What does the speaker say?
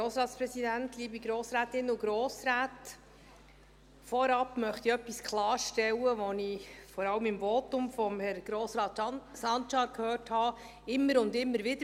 Vorab möchte ich etwas klarstellen, das ich vor allem im Votum von Grossrat Sancar gehört habe, immer und immer wieder: